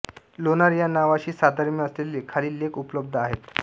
लोणार या नावाशी साधर्म्य असलेले खालील लेख उपलब्ध आहेत